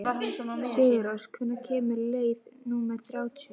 Sigurósk, hvenær kemur leið númer þrjátíu?